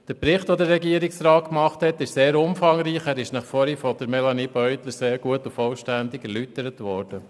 Der Bericht des Regierungsrats ist sehr umfangreich, er ist Ihnen vorhin von Melanie Beutler sehr gut und vollständig erläutert worden.